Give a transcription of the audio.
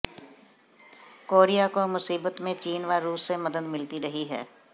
Korea को मुसीबत में चीन व रूस से मदद मिलती रही है